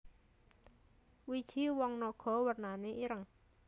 Wiji woh naga wernané ireng